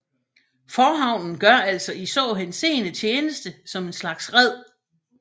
Forhavnen gør altså i så henseende tjeneste som en slags red